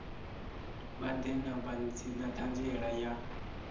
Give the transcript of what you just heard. vha ḓe na ṱhanziela ya